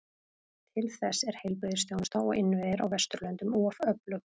Til þess er heilbrigðisþjónusta og innviðir á Vesturlöndum of öflug.